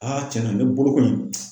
Aa cɛn na ne bolo kɔni